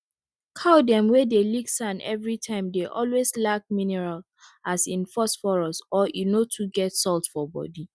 cow dem wey dey lick sand everytime dey always lack miniral as in phosphorus or e no too get salt for body